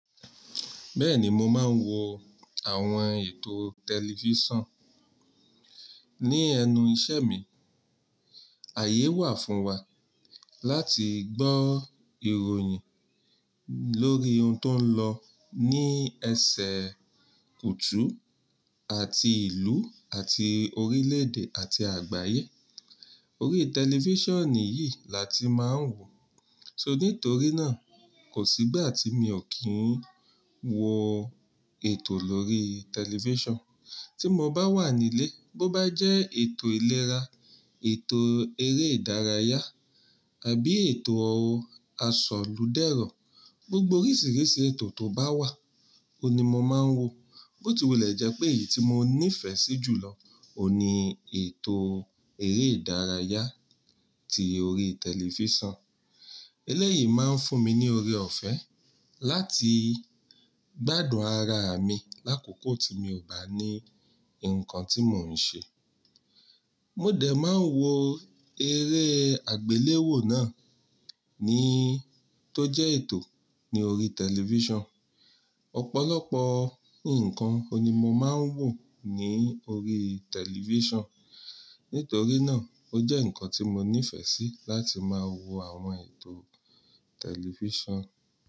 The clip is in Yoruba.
Bẹ́ẹ̀ni, mo máa ń wo àwọn ètò tẹlifíṣàn ní ẹnu ìṣẹ́ mi. Ààyè wà fún wa láti gbọ́ ìròyìn lórí ohun tó ń lọ ní ẹsẹ̀ kùtú àti ìlú àti orílẹ̀èdè àti àgbáyé. Orí tẹlifíṣàn ni yìí làti máa ń wò. So nítorí náà, kò sígbà tí mi ò kí ń wo ètò lórí tẹlifíṣàn. Tí mo bá wà nílé, bó bá jẹ́ ètò ìlera, ètò eré ìdárayá àbí ètò ọ̀rọ̀ àsọlúdẹ̀rọ̀, gbogbo oríṣìíríṣìí ètò tó bá wà, òun ni mo máa ń wò. Bó ti wù lẹ̀ jẹ́ pé èyí tí mo nífẹ̀ẹ́ sí jù lọ ò ní ètò eré ìdárayá tí orí tẹlifíṣàn. Eléyìí máa ń fún mi ní ọrẹ ọ̀fẹ́ láti gbádùn ara mi lákòókò tí mi ò bá ní nǹkan tí mò ń ṣe. Mo dẹ̀ máa ń wo eré àgbéléwò náà ní tó jẹ́ ètò ní orí tẹlifíṣàn. Ọ̀pọ̀lọpọ̀ nǹkan oun ni mo máa ń wò ní orí tẹlifíṣàn. Nítorí náà, ó jẹ́ ǹkan tí mo nífẹ̀ẹ́ sí láti máa wo àwọn ètò tẹlifíṣàn.